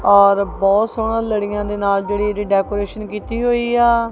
ਔਰ ਬਹੁਤ ਸੋਹਣਾ ਲੜੀਆਂ ਦੇ ਨਾਲ ਜਿਹੜੀ ਇਹਦੀ ਡੈਕੋਰੇਸ਼ਨ ਕੀਤੀ ਹੋਈ ਆ।